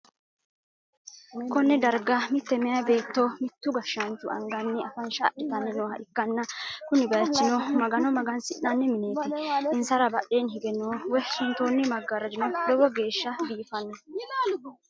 konne darga mitte meyaa beetto mittu gashshaanchu anganni afansha adhitanni nooha ikkanna, kuni bayichino magano magansi'nanni mineeti, insara badheenni hige no woy suntoonni maggarajino lowo geeshsha biifanno.